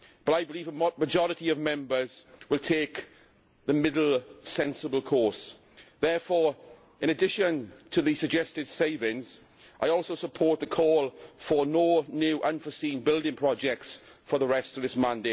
I believe the majority of Members will take the middle, sensible course. Therefore, in addition to the suggested savings, I also support the call for no new unforeseen building projects for the rest of this term.